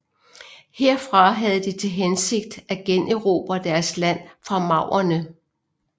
Herfra havde de til hensigt at generobre deres land fra maurerne